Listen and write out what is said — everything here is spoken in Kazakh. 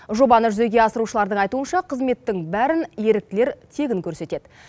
жобаны жүзеге асырушылардың айтуынша қызметтің бәрін еріктілер тегін көрсетеді